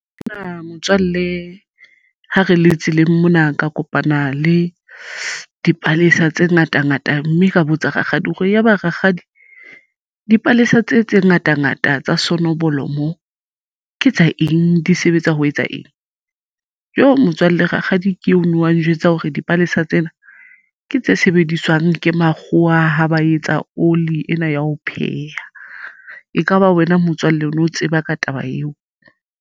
Nna motswalle ha re le tseleng mona ka kopana le dipalesa tse ngata ngata mme ka botsa rakgadi hore ya ba rakgadi dipalesa tse tse ngata ngata tsa sonoblomo ke tsa eng di sebetsa ho etsa eng jo motswalle rakgadi ke eno a njwetsa hore dipalesa tsena ke tse sebediswang ke makgowa a ha ba etsa oli ena ya ho pheha. Ekaba wena motswalle o no tseba ka taba eo?